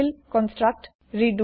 আনতিল্ construct